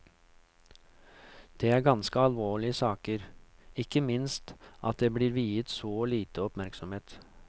Det er ganske alvorlige saker, ikke minst at det blir viet så lite oppmerksomhet.